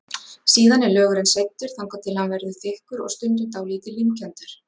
Síðan er lögurinn seyddur, þangað til hann verður þykkur og stundum dálítið límkenndur.